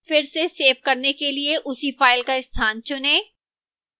फिर से सेव करने के लिए उसी file का स्थान चुनें